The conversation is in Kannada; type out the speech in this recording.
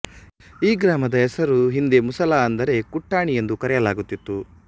ಈ ಗ್ರಾಮದ ಹೆಸರು ಹಿಂದೆ ಮುಸಲ ಅಂದರೆ ಕುಟ್ಟಾಣಿ ಎಂದು ಕರೆಯಲಾಗುತ್ತಿತ್ತು